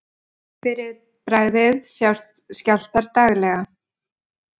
Fyrir bragðið sjást skjálftar daglega.